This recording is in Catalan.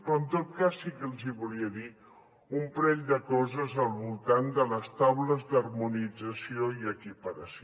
però en tot cas sí que els hi volia dir un parell de coses al voltant de les taules d’harmonització i equiparació